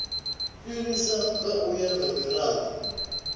fhirisa u ya nga mirado